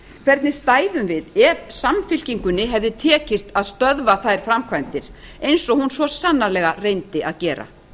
hvernig stæðum við ef samfylkingunni hefði tekist að stöðva þær framkvæmdir eins og hún svo sannanlega reyndi að gera